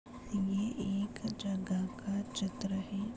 यह एक जगह का चित्र है।